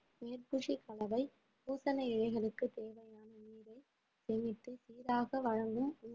மேற்பூச்சுக் கலவை பூசன இலைகளுக்கு தேவையான நீரை சேமித்து சீராக வழங்கும்